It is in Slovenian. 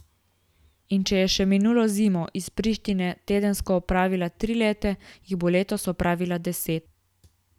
In če je še minulo zimo iz Prištine tedensko opravila tri lete, jih bo letos opravila deset.